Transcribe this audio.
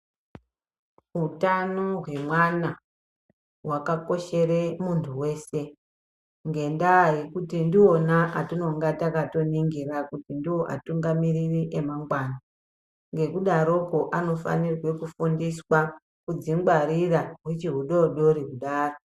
Utano hwemwana hwakakoshera muntu weshe ngenda yekuti ndivona vatinenge takaningira kuti ndovatungamiriri emangwana ngekudaroko anofanirwa kufundisa kudzingwarira uchiri hudodori kudaro.